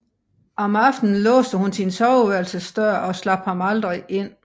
Om aftenen låste hun sin soveværelsesdør og slap ham aldrig ind